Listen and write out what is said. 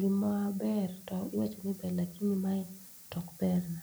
gima ber tiwacho ni ber lakini mae to ok berna